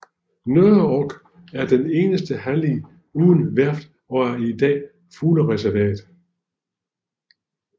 Nørreog er den eneste hallig uden værft og er i dag fuglereservat